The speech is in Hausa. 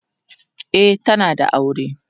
e tana da aure